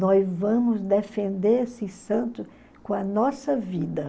Nós vamos defender esses santos com a nossa vida.